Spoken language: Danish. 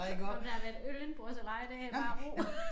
Om der har været øl indenbords eller ej det bare ro